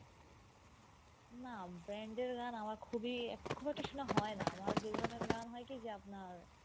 না band এর গান আমার খুবই খুব একটা শোনা হয় না আমার যে ধরণের গান যে আপনার